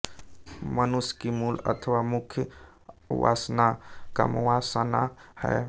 मनुष्य की मूल अथवा मुख्य वासना कामवासना है